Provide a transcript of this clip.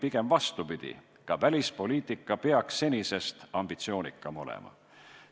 Pigem vastupidi, ka välispoliitika peaks senisest ambitsioonikam olema.